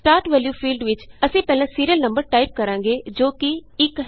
start valueਫੀਲਡ ਵਿਚ ਅਸੀਂ ਪਹਿਲਾ ਸੀਰੀਅਲ ਨੰਬਰ ਟਾਈਪ ਕਰਾਂਗੇ ਜੋ ਕਿ1ਹੈ